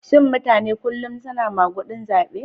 Shin mutane kullum suna magudin zabe?